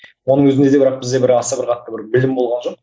оның өзінде де бір бізде бір аса бір қатты бір білім болған жоқ